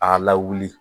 A lawuli